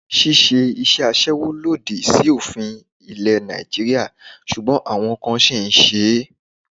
Ṣíṣe isẹ aṣẹ́wó lòdì sí òfin ilẹ̀ Nàìjíríà ṣùgbọ́n àwọn kan sì ń ṣe é